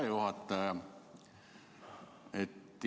Hea juhataja!